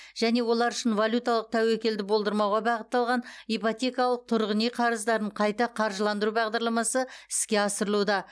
және олар үшін валюталық тәуекелді болдырмауға бағытталған ипотекалық тұрғын үй қарыздарын қайта қаржыландыру бағдарламасы іске асырылуда